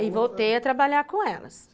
e voltei a trabalhar com elas.